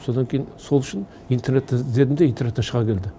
содан кейін сол үшін интернеттен іздедім де интернеттен шыға келді